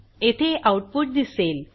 येथे आऊटपुट दिसेल